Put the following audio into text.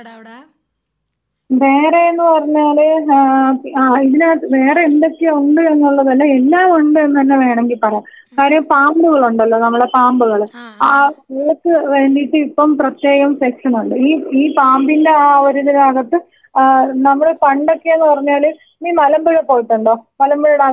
വേറേന്ന് പറഞ്ഞാല് ആ ആ ഇതിനകത്ത് വേറെ എന്തൊക്കെയുണ്ട് എന്നുള്ളതല്ല എല്ലാം ഉണ്ട്ന്നന്നെ വേണെങ്കി പറയാ കാര്യം പാമ്പുകളുണ്ടല്ലോ നമ്മളെ പാമ്പുകള് ആ ഇവയ്ക്ക് വേണ്ടീട്ട് ഇപ്പം പ്രത്യേകം സെക്ഷനുണ്ട് ഈ ഈ പാമ്പിന്റെ ആ ഒരു ഇതിനകത്ത് ആ നമ്മള് പണ്ടൊക്കേന്ന് പറഞ്ഞാല് നീ മലമ്പുഴ പോയിട്ടുണ്ടോ മലമ്പുഴ ഡാമിൽ പോയിട്ടുണ്ടോ പാലക്കാട്.